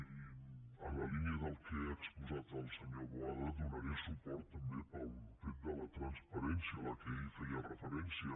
i en la línia del que ha exposat el senyor boada hi donaré suport també pel fet de la transparència a la qual ell feia referència